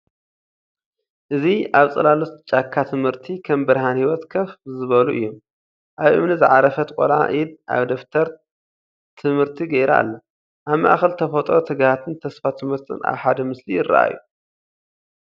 እዚ ኣብ ጽላሎት ጫካ ትምህርቲ ከም ብርሃን ህይወት ኮፍ ዝበሉ እዮም። ኣብ እምኒ ዝዓረፈት ቀልዓ ኢድ ኣብ ደፍተር ትምህርቲ ገይራ ኣላ። ኣብ ማእከል ተፈጥሮ ትግሃትን ተስፋ ትምህርትን ኣብ ሓደ ምስሊ ይራኣዩ።